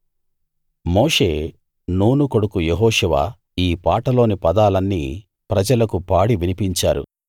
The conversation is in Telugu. మోషే నూను కొడుకు యెహోషువ ఈ పాటలోని పదాలన్నీ ప్రజలకు పాడి వినిపించారు